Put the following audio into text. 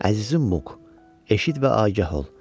“Əzizim Muk, eşit və agah ol.